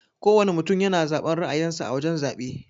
Kowana mutum yana zaben ra'ayin sa a wajan zabe.